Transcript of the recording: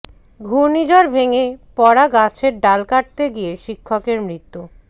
ঘূর্ণিঝড়ে ভেঙে পড়া গাছের ডাল কাটতে গিয়ে শিক্ষকের মৃত্যু